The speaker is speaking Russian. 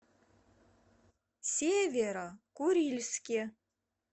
северо курильске